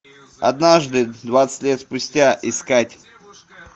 однажды двадцать лет спустя искать